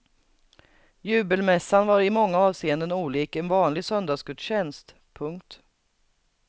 Jubelmässan var i många avseenden olik en vanlig söndagsgudstjänst. punkt